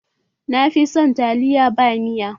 Na fi son taliya ta ba miya